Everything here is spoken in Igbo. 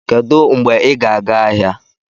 Kedu mgbe ị ga-aga ahịa?